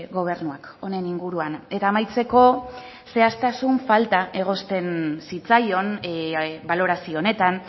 gobernuak honen inguruan eta amaitzeko zehaztasun falta egozten zitzaion balorazio honetan